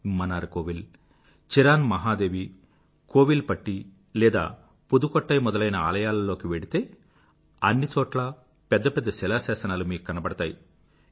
Mannar Kovil Cheran Mahadevi Kovilpatti లేదా పుదుకొట్టయి మొదలైన ఆలయాలలోకి వెళ్తే అన్ని చోట్లా పెద్ద పెద్ద శిలాశాసనాలు మీకు కనబడతాయి